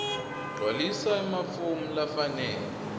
gcwalisa emafomu lafanele